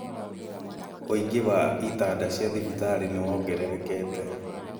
ũingi wa itanda cia thibitarĩ nĩ wongererekete